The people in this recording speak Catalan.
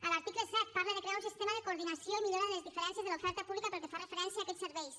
a l’article set parla de crear un sistema de coordinació i millora de les diferències de l’oferta pública pel que fa referència a aquests serveis